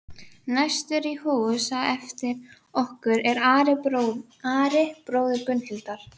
Gagnkvæmni er fólki ekki eðlislæg og tengist ekki kynferði sérstaklega.